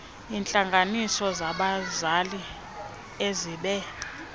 iintlanganiso zabazali ezibe